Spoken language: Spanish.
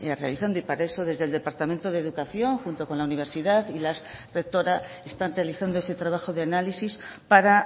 realizando y para eso desde el departamento de educación junto con la universidad y la rectora están realizando ese trabajo de análisis para